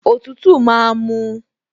Òtútù máa mú un